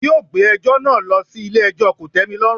Wọn yóò gbé ẹjọ́ náà lọ sí ilé ẹjọ́ kòtẹ́milọ́rùn.